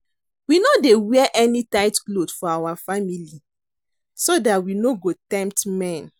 We no dey wear any tight cloth for our family so dat we no go tempt men